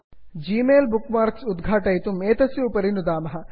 Gmail Gmail bookmarks उद्घाटयितुम् एतस्य उपरि नुदामः